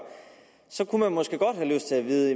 så kunne man måske godt have lyst til at vide